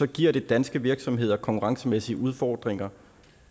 giver det danske virksomheder konkurrencemæssige udfordringer